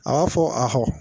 A b'a fɔ ahɔ